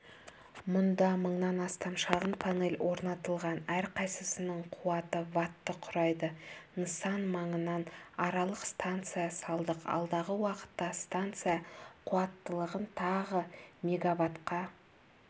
мұнда мыңнан астам шағын панель орнатылған әрқайсысының қуаты ватты құрайды нысан маңынан аралық станция салдық алдағы уақытта станция қуаттылығын тағы мегаватқа